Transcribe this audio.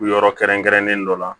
Yɔrɔ kɛrɛnkɛrɛnnen dɔ la